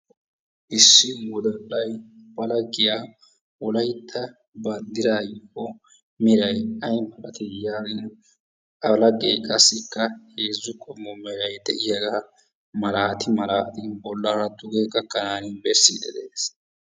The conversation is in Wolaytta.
Issi woddallay ba lagiya wolaytta banddiray o meray yaagin a lager qassikka heezzu qommo meray de'iyagaa malaati malaattidi bollaraa duge gakkanashin bessidi de'ees.